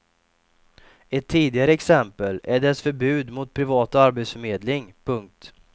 Ett tidigare exempel är dess förbud mot privat arbetsförmedling. punkt